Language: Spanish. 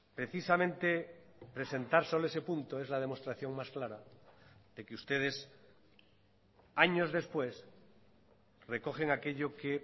precisamente presentar solo ese punto es la demostración más clara de que ustedes años después recogen aquello que